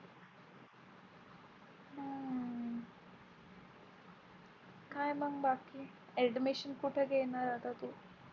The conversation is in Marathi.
काय मग बाकी Admission कुठे घेणार आता तू?